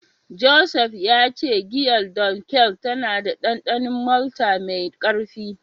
Joseph ya ce giyar Dunkel tana da dandanon malta mai karfi.